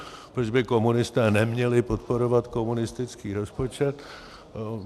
Proč by komunisté neměli podporovat komunistický rozpočet?